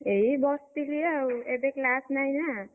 ଏଇ ବସିଛି ଆଉ ଏବେ class ନାହିଁ ନା,